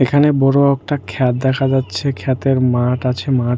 এখানে বড় একটা ক্ষেত দেখা যাচ্ছে ক্ষেতের মাঠ আছে মাঠ --